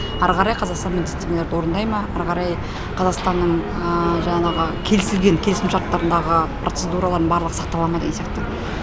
ары қарай қазақстан міндеттемелерді орындай ма ары қарай қазақстанның жаңағы келісілген келісім шарттарындағы процедуралардың барлығы сақтала ма деген сияқты